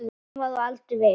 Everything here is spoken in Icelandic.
Hann var á aldur við